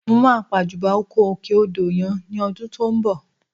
Mo máa pàjùbà oko òkè odò yẹn ní ọdún tó ń bọ̀